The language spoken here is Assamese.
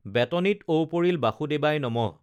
বেতনিত ঔ পৰিল বাসুদেবায় নমঃ